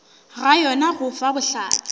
ga yona go fa bohlatse